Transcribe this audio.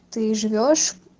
ты живёшь